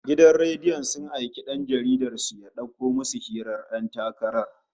Gidan rediyon sun aiki dan rahoton su ya dauko musu hirar ƴan takarar